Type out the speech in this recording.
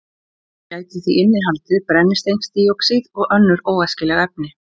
Hún gæti því innihaldið brennisteinsdíoxíð og önnur óæskileg efni.